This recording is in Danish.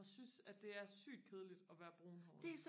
og synes at det er sygt kedeligt at være brunhåret